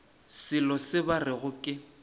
selo se ba rego ke